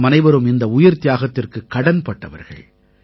நாமனைவரும் இந்த உயிர்த்தியாகத்திற்குக் கடன்பட்டவர்கள்